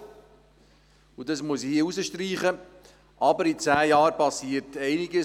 Aber, das muss ich hier betonen, in zehn Jahren geschieht einiges.